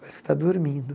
Parece que está dormindo.